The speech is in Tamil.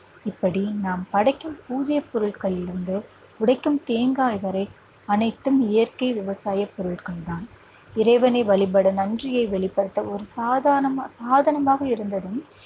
இப்படி நாம் படைக்கும் பூஜை பொருட்களில் இருந்து உடைக்கும் தேங்காய் வரை அனைத்தும் இயற்கை விவசாய பொருட்கள் தான் இறைவனை வழிபட நன்றியை வெளிப்படுத்த ஒரு சாதானமா சாதனமாக இருந்ததும்